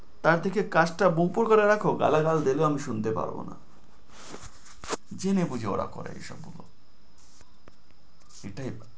তার থেকে কাচঁটা করে রাখ গালাগাল দিলেও আমি শুনতে পাব না। জেনে বুঝে ওরা করে এসব গুলো। সেটাই